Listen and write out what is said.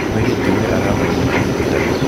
Mũirĩtu ũrĩa arathomera ũrigitani.